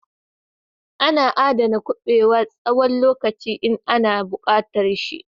Ana aɗana kubewa na tsawon lokaci in an bushar da shi.